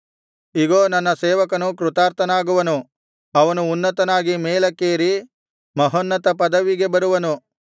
ಇಗೋ ನನ್ನ ಸೇವಕನು ಕೃತಾರ್ಥನಾಗುವನು ಅವನು ಉನ್ನತನಾಗಿ ಮೇಲಕ್ಕೇರಿ ಮಹೋನ್ನತ ಪದವಿಗೆ ಬರುವನು